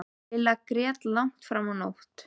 Lilla grét langt fram á nótt.